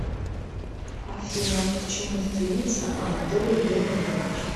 афина к чему стремится анатолий леонидович